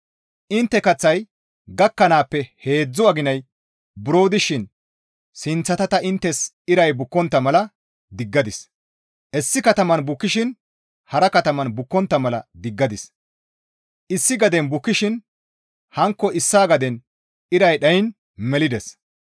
Intte kaththay gakkanaappe buro heedzdzu aginay dishin sinththata ta inttes iray bukkontta mala diggadis; issi kataman bukkishin hara kataman bukkontta mala diggadis; issi gaden bukkishin hankko issaa gaden iray dhayiin melides.